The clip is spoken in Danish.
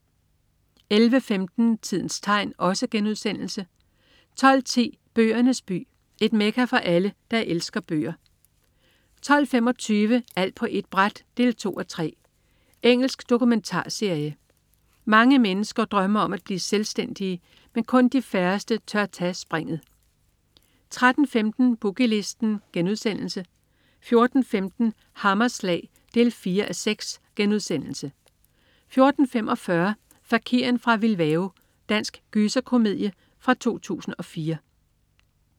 11.15 Tidens tegn* 12.10 Bøgernes by. Et mekka for alle, der elsker bøger 12.25 Alt på ét bræt 2:3. Engelsk dokumentarserie. Mange mennesker drømmer om at blive selvstændige, men kun de færreste tør tage springet 13.15 Boogie Listen* 14.15 Hammerslag 4:6* 14.45 Fakiren fra Bilbao. Dansk gyserkomedie fra 2004